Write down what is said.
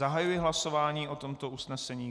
Zahajuji hlasování o tomto usnesení.